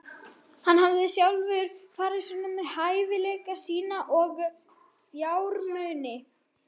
Hann hafði sjálfur farið svona með hæfileika sína og fjármuni.